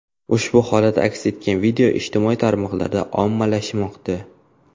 Ushbu holat aks etgan video ijtimoiy tarmoqlarda ommalashmoqda.